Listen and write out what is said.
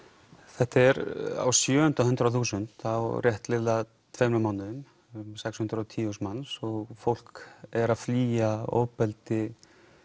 þetta er á sjöunda hundrað þúsund á rétt liðlega tveimur mánuðum um sex hundruð og tíu þúsund manns og fólk er að flýja ofbeldi